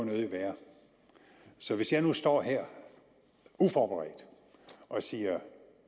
nødig være så hvis jeg nu står her uforberedt og siger